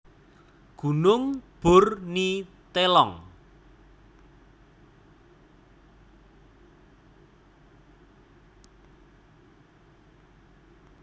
Gunung Bur Ni Telong